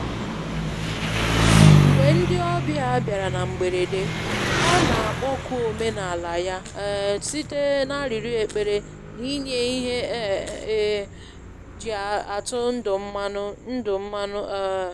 Mgbe ndị ọbịa bịara na mgberede, ọ na-akpọku omenala ya um site n'arịrịo ekpere na inye ihe e um ji atụ ndụ mmanụ. ndụ mmanụ. um